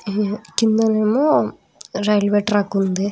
కింద నేమో railway track ఉంది.